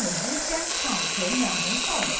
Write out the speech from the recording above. Bu isə Trampı məmnun salmır.